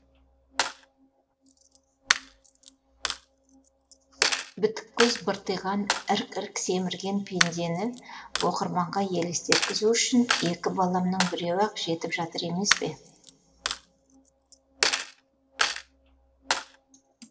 бітік көз быртиған ірк ірк семірген пендені оқырманға елестеткізу үшін екі баламның біреуі ақ жетіп жатыр емес пе